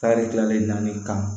Tari dilanlen nani kan